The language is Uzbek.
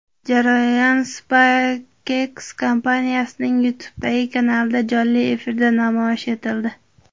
Jarayon SpaceX kompaniyasining YouTube’dagi kanalida jonli efirda namoyish etildi.